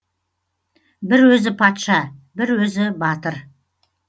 бір өзі патша бір өзі батыр